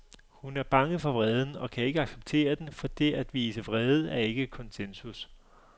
Hun er bange for vreden og kan ikke acceptere den, fordi det at vise vrede ikke er konsensus.